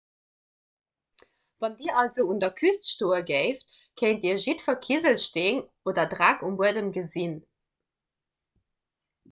wann dir also un der küst stoe géift kéint dir jiddwer kiselsteen oder dreck um buedem gesinn